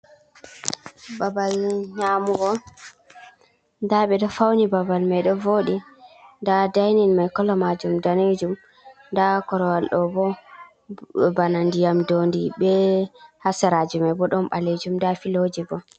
Babal nyamugo: Nda ɓeɗo fauni babal mai ɗo voɗi, nda dainin mai kolo majum danejum, nda korowal ɗo bo bana ndiyam dondi be ha seraji mai bo ɗon ɓalejum, nda filoje bo.